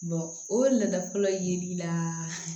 o ladalɔ yeli la